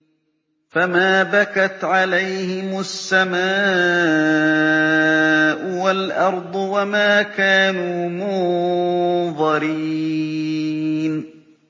فَمَا بَكَتْ عَلَيْهِمُ السَّمَاءُ وَالْأَرْضُ وَمَا كَانُوا مُنظَرِينَ